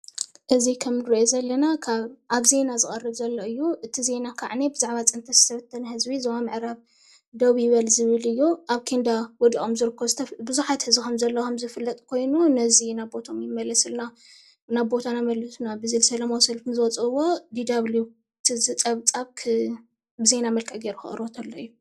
እዚ ከም እንሪኦ ዘለና ካብ አብ ዜና ዝቀረብ ዘሎ እዩ፡፡ እቲ ዜና ከዓኒ ብዛዕባ ፅንተት ዝተበተነ ህዝቢ ዞባ ምዕራብ ደዉ ይበል ዝብል እዩ፡፡ አብ ኬንዳ ወዲቆም ዝርከቡ ቡዛሓት ህዝቢ ከም ዘለው ዝፍለጥ ኮይኑ ነዚ ናብ ቦታናኦም ይመለሱልና ናብ ቦታና መልሱና ሰልፊ ንዝወፅእዎ DW እዚ ፀብፃብ ብዜና መልክዕ ከቅርቦ እንተሎ እዩ፡፡